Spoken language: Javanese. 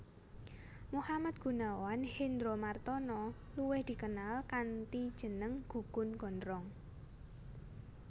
Muhammad Gunawan Hendromartono luwih dikenal kanthi jeneng Gugun Gondrong